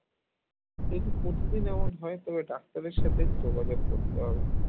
এটি প্রতিদিন এমন হয় তবে ডাক্তারের সাথে যোগাযোগ করতে হবে